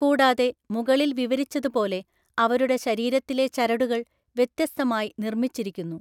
കൂടാതെ, മുകളിൽ വിവരിച്ചതുപോലെ അവരുടെ ശരീരത്തിലെ ചരടുകൾ വ്യത്യസ്തമായി നിർമ്മിച്ചിരിക്കുന്നു.